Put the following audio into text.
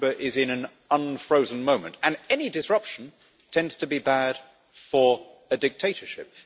Cuba is in an unfrozen moment, and any disruption tends to be bad for a dictatorship.